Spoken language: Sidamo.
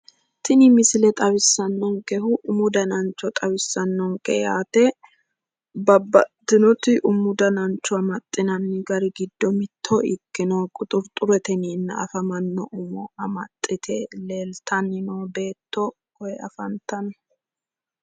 tini misile xawissannonkehu umu danancho xawissannonke yaate babaxitinoti umu danancho amaxxinannite gari giddo mitto ikkitino quxuxure yineenna afamanno umo amaxxite leeltanno noo beetto koye afantanno.